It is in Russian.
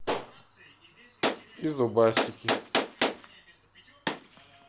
и зубастики